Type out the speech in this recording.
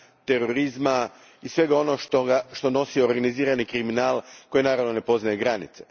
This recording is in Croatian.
terorizma i svega onoga što nosi organizirani kriminal, koji, naravno, ne poznaje granice.